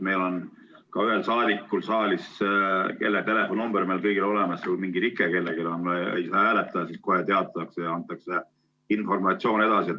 Meil on üks saadik saalis, kelle telefoninumber meil kõigil on olemas, ja kui on mingi rike kellelgi, nii et ta ei saa hääletada, siis kohe teatatakse ja antakse informatsioon edasi.